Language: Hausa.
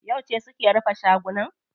Yauce suke rufe shagunan?